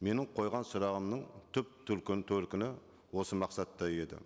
менің қойған сұрағымның түп төркіні осы мақсатта еді